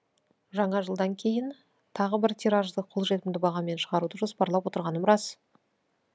жаңа жылдан кейін тағы бір тиражды қолжетімді бағамен шығаруды жоспарлап отырғаным рас